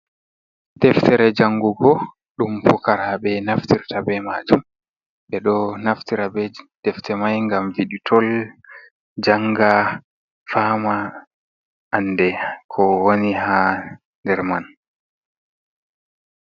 Deftere jangugo ɗum fokaraɓe naftirta be maajum. Ɓe ɗo naftira be defte mai ngam wiɗitol, janga faama ande ko woni ha nder man.